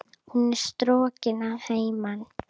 Hún er strokin að heiman.